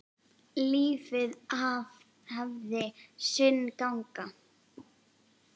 Lífið hafði sinn gang.